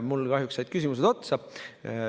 Mul kahjuks said küsimused otsa.